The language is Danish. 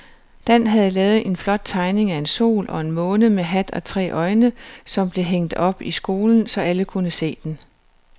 Dan havde lavet en flot tegning af en sol og en måne med hat og tre øjne, som blev hængt op i skolen, så alle kunne se den.